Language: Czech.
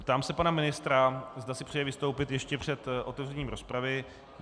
Ptám se pana ministra, zda si přeje vystoupit ještě před otevřením rozpravy.